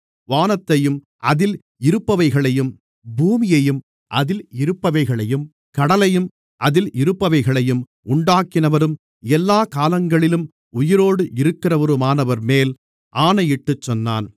வானத்தையும் அதில் இருப்பவைகளையும் பூமியையும் அதில் இருப்பவைகளையும் கடலையும் அதில் இருப்பவைகளையும் உண்டாக்கினவரும் எல்லாக் காலங்களிலும் உயிரோடு இருக்கிறவருமானவர்மேல் ஆணையிட்டுச் சொன்னான்